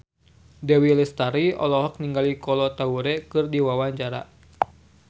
Dewi Lestari olohok ningali Kolo Taure keur diwawancara